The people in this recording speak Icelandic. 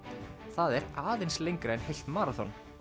það er aðeins lengra en heilt maraþon